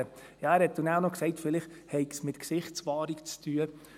Er sagte dann auch noch, vielleicht habe es mit Gesichtswahrung zu tun.